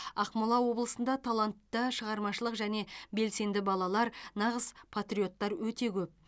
ақмола облысында талантты шығармашылық және белсенді балалар нағыз патриоттар өте көп